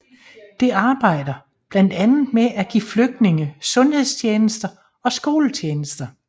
Det arbejder blandt andet med at give flygtningene sundhedstjenester og skoletjenester